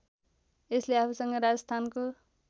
यसले आफूसँग राजस्थानको